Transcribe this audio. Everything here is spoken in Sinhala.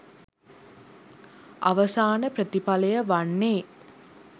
අවසාන ප්‍රතිඵලය වන්නේ